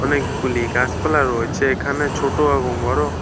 অনেকগুলি গাছপালা রয়েছে এখানে ছোট এবং বড়ো।